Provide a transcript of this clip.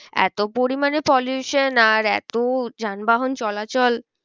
এতো পরিমানে pollution আর এত যান বাহন চলাচল